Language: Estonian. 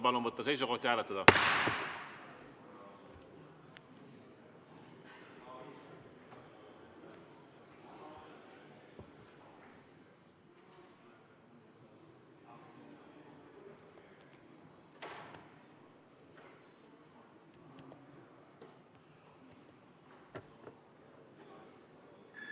Palun võtta seisukoht ja hääletada!